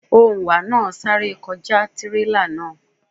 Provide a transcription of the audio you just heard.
Òǹwà náà sá kọjá tírélà náà.